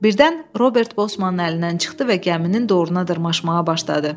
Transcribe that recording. Birdən Robert Bosmanın əlindən çıxdı və gəminin doğruna dırmaşmağa başladı.